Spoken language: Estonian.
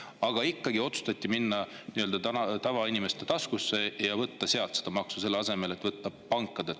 Aga ikkagi otsustati minna ja võtta nii-öelda tavainimese taskust see maks, selle asemel et võtta pankadelt.